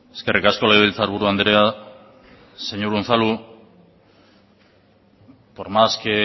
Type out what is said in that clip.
eskerrik asko legebiltzarburu andrea señor unzalu por más que